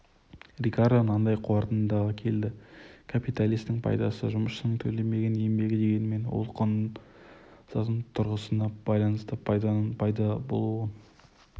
рикардо мынандай қорытындыға келді капиталистің пайдасы жұмысшының төленбеген еңбегі дегенмен ол құн заңының тұрғысына байланысты пайданың пайда болуын